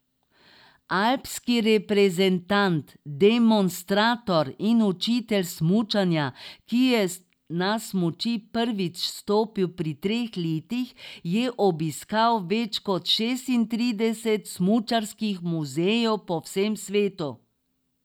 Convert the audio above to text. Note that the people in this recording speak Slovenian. Alpski reprezentant, demonstrator in učitelj smučanja, ki je na smuči prvič stopil pri treh letih, je obiskal več kot šestintrideset smučarskih muzejev po vsem svetu.